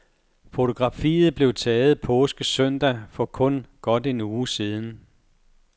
Fotografiet blev taget påskesøndag for kun godt en uge siden.